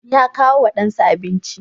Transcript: Ya kawo wa ɗansa abinci.